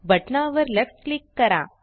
बटना वर left click करा